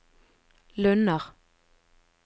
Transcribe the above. Lunner